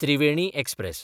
Triveni express